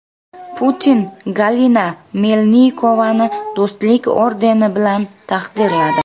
Putin Galina Melnikovani Do‘stlik ordeni bilan taqdirladi.